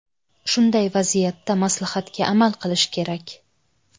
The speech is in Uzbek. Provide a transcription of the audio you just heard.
Shunday vaziyatda maslahatga amal qilish kerak.